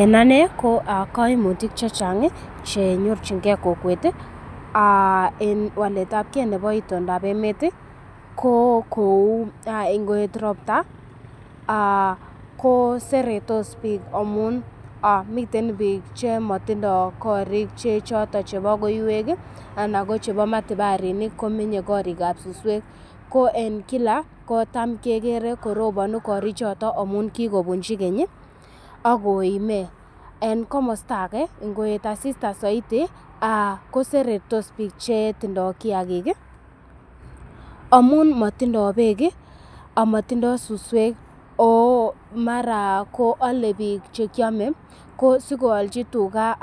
En ane ko kaimutik che chang che nyorjinge kokwet en waletabge nebo itondab emet ko kou ngoet ropta koseretos biik amun miten biik chemotindo korik che choton chebo koiywek ana ko matubarinik; komenye korikab suswek. Ko en kila kotma keger korobunu korichoto amaun kigobunchi keny ak koime. En komosta age ngoet asista soiti kosertos biik chetindo amun motindo beek amotindo suswek ago mara ko ale biik chekyome. Ko sikoalchi tuga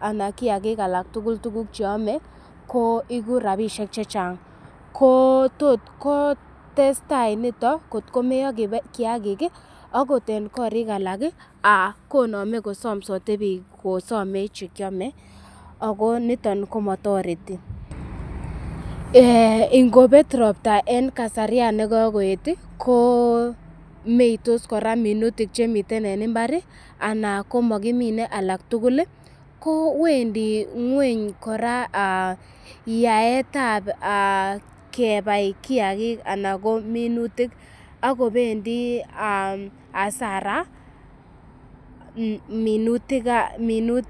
anan kiyagik alak tugul tuguk che ame koigu rabishek chechang. Ko tot kotestai nito kotko meyo kiyagik agot en kotik alak konome kosomsote biik kosome che kyome ago niton komotoreti. Ingobet ropta en kasaryan ne kogoet komeitos kora minutik chemiten en mbar, ana komokimine alak tugul kowendi ng'weny kora yaetab kebai kiyagik anan minutik ago bendi hasara minutik